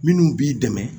Minnu b'i dɛmɛ